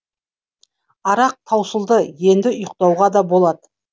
арақ таусылды енді ұйықтауға да болады